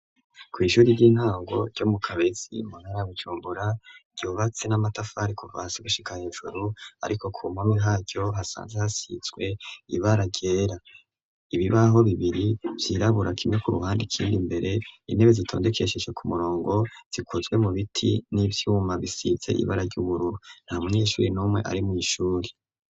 Kw'ishuri ry'intango ryo mu kabezi munara gucumbura ryobatse n'amatafari ku vasi gushika hejuru, ariko ku mpami haryo hasanze hasizwe ibara ryera ibibaho bibiri vyirabura kimwe ku ruhande ikindi mbere intebe zitondekesheshe ku murongo zikozwe mu biti n'ivyumabisize ibara ra buru nta munyeshuri n'umwe arimw'ishuri.